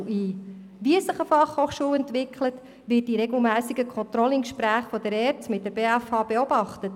Wie sich eine FH entwickelt, wird in regelmässigen Controlling-Gesprächen der ERZ mit der BFH beobachtet.